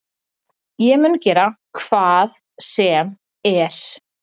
Ég mun gera HVAÐ SEM ER